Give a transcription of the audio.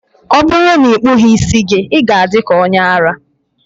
ọ bụrụ na ị kpụghị ntutu isi gị, ị ga-adị ka onye ara